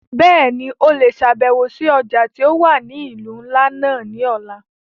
Bẹ́ẹ̀ni, o le ṣabẹwo si ọja ti o wa ni ilu nla náa ni ọla.